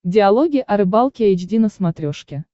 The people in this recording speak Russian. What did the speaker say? диалоги о рыбалке эйч ди на смотрешке